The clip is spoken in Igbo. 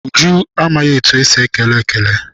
Uju amaghị etu esi ekele ekele.